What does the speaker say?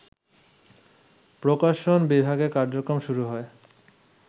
প্রকাশন বিভাগের কার্যক্রম শুরু হয়